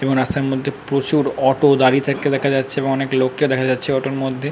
এবং রাস্তার প্রচুর অটো দাঁড়িয়ে থাকতে দেখা যাচ্ছে এবং অনেক লোককেও দেখা যাচ্ছে অটো এর মধ্যে।